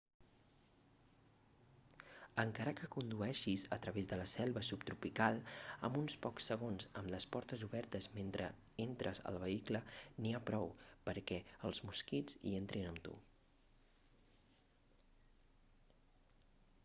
encara que condueixis a través de la selva subtropical amb uns pocs segons amb les portes obertes mentre entres al vehicle n'hi ha prou perquè els mosquits hi entrin amb tu